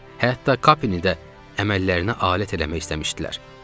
Hətta Kape-ni də əməllərinə alət eləmək istəmişdilər.